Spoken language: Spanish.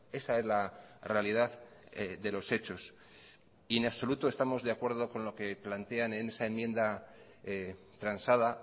esa es la realidad de los hechos y en absoluto estamos de acuerdo con lo que plantean en esa enmienda transada